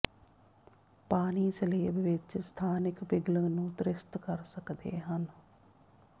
ਪਾਣੀ ਸਲੇਬ ਵਿੱਚ ਸਥਾਨਿਕ ਪਿਘਲਣ ਨੂੰ ਤ੍ਰਿਸਤ ਕਰ ਸਕਦੇ ਹਨ